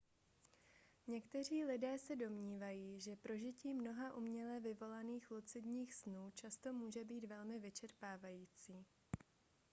někteří lidé se domnívají že prožití mnoha uměle vyvolaných lucidních snů často může být velmi vyčerpávající